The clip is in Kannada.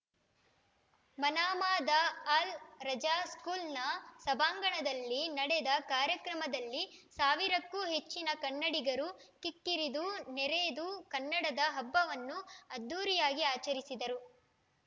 ಮನಾಮಾದ ಅಲ್‌ ರಜಾ ಸ್ಕೂಲ್‌ನ ಸಭಾಂಗಣದಲ್ಲಿ ನಡೆದ ಕಾರ್ಯಕ್ರಮದಲ್ಲಿ ಸಾವಿರಕ್ಕೂ ಹೆಚ್ಚಿನ ಕನ್ನಡಿಗರು ಕಿಕ್ಕಿರಿದು ನೆರೆದು ಕನ್ನಡದ ಹಬ್ಬವನ್ನು ಅದ್ಧೂರಿಯಾಗಿ ಆಚರಿಸಿದರು